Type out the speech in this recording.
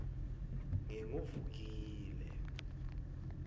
nginguvukile